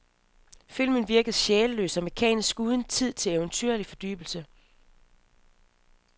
Filmen virker sjælløs og mekanisk uden tid til eventyrlig fordybelse.